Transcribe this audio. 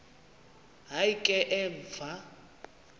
hayi ke emva